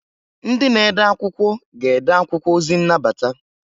Ndị na ede akwụkwọ ga-ede akwụkwọ ozi nnabata.